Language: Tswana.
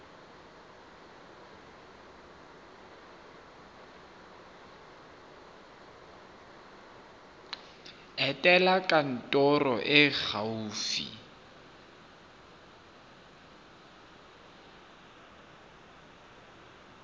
etela kantoro e e gaufi